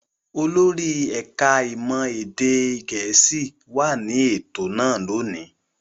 Olórí ẹ̀ka-ìmọ̀ èdè Gẹ̀ẹ́sì wà ní ètò náà lónìí.